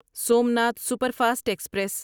Somnath superfast express